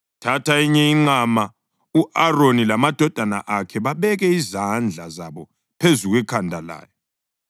Thatha enye inqama, u-Aroni lamadodana akhe babeke izandla zabo phezu kwekhanda layo.